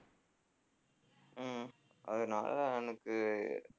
உம் அதனால எனக்கு